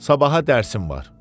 Sabaha dərsim var.